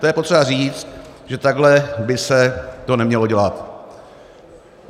To je potřeba říct, že takhle by se to nemělo dělat.